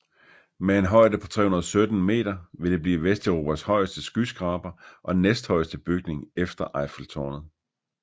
Med en højde på 317 meter vil det blive Vesteuropas højeste skyskraber og næsthøjeste bygning efter Eiffeltårnet